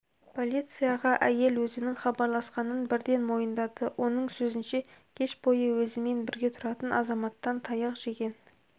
полицияға әйел өзінің хабарласқанын бірден мойындады оның сөзінше кеш бойы өзімен бірге тұратын азаматтан таяқ жеген